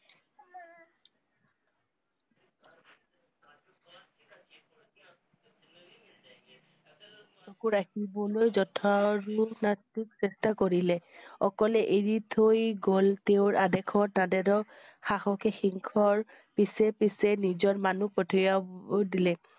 চকু ৰাখিবলৈ চেষ্টা কৰিলে। অকলে এৰি থৈ গল তেওঁৰ আদেশৰ সহসে সিংহৰ পিছে পিছে নিজৰ মানুহ পঠিয়া~ব দিলে।